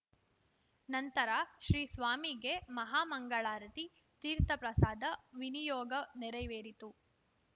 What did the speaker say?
ನಂತರ ಶ್ರೀ ಸ್ವಾಮಿಗೆ ಮಹಾ ಮಂಗಳಾರತಿ ತೀರ್ಥಪ್ರಸಾದ ವಿನಿಯೋಗ ನೆರವೇರಿತು